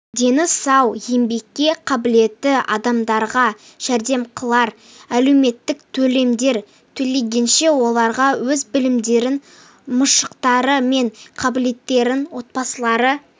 дені сау еңбекке қабілетті адамдарға жәрдемақылар әлеуметтік төлемдер төлегенше оларға өз білімдерін машықтары мен қабілеттерін отбасылары